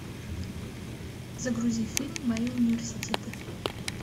загрузи фильм мои университеты